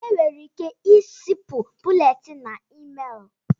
Enwere ike izipu búlétin na ịméélù